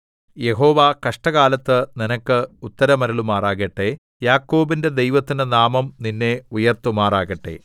യഹോവ കഷ്ടകാലത്ത് നിനക്ക് ഉത്തരമരുളുമാറാകട്ടെ യാക്കോബിന്റെ ദൈവത്തിന്റെ നാമം നിന്നെ ഉയർത്തുമാറാകട്ടെ